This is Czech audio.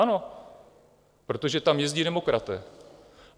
Ano, protože tam jezdí demokraté.